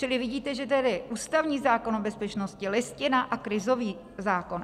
Čili vidíte, že tedy ústavní zákon o bezpečnosti, Listina a krizový zákon.